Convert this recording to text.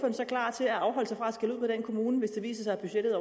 så klar til at afholde sig fra at skælde ud på den kommune hvis det viser sig at budgettet